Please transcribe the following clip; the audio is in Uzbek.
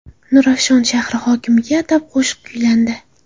Nurafshon shahri hokimiga atab qo‘shiq kuylandi .